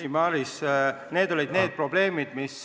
Ei, Maris, need olid probleemid, mis